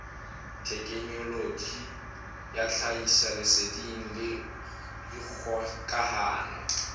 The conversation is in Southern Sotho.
thekenoloji ya tlhahisoleseding le dikgokahano